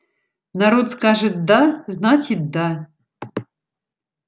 народ скажет да значит да